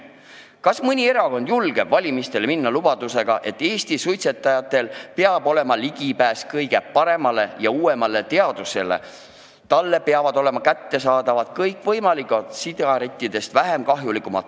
Kas mõni erakond julgeb valimistele minna lubadusega, et Eesti suitsetajatel peab olema ligipääs kõige parematele ja uuematele teadussaavutustele, et neile peavad olema kättesaadavad kõikvõimalikud sigarettidest vähem kahjulikud tooted?